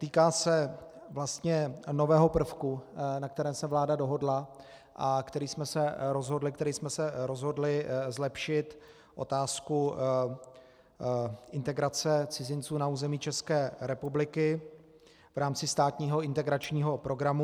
Týká se vlastně nového prvku, na kterém se vláda dohodla a který jsme se rozhodli zlepšit - otázku integrace cizinců na území České republiky v rámci státního integračního programu.